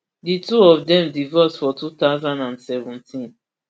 di two of dem divorce for two thousand and seventeen